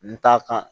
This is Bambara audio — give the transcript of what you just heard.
N ta kan